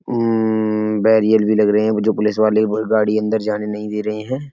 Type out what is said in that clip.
अम्मम्म barrier भी लग रहे हैं। मुझे पुलिस वाले गाड़ी अन्दर जाने नहीं दे रहे हैं।